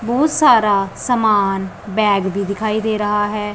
बहुत सारा समान बैग भी दिखाई दे रहा है।